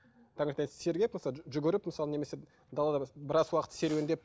жүгіріп мысалы немесе далада біраз уақыт серуендеп